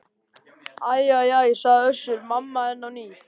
Æ æ æ, sagði Össur-Mamma enn á ný.